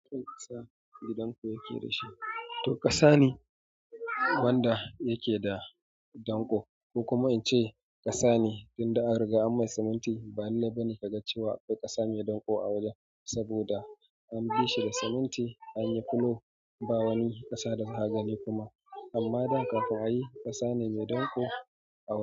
Kasa, gidanƙo ya ke da shi. To ƙasa ne wanda yake da danƙo. Ko kuma in ce ƙasa ne, inda an riga an mai siminti. Ba'in labari ka ga cewa akwai ƙasa mai danko a wajen, saboda an bi shi da siminti, an yi fulo, ba wani ƙasa da haga ne kuma. Amma dan kafin a yi ƙasa mai danko a wajen.